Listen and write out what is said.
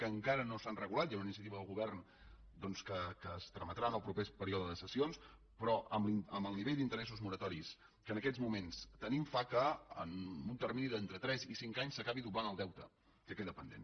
que encara no s’han regulat hi ha una iniciativa del govern que es trametrà en el proper període de sessions però amb el nivell d’interessos moratoris que en aquests moments tenim fa que en un termini d’entre tres i cinc anys s’acabi doblant el deute que queda pendent